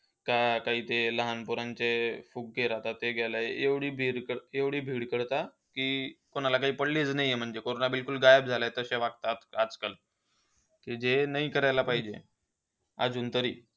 हा, आता इथे लहान पोरांचे फुगे राहतायत. एवढी करता की, त्यांना काही पडलेलीच नाही आहे. म्हणजे कोरोना गायब झाला आहे असे वागतायत आजआजकाल. की जे नाही करायला पाहिजे. अजूनतरी.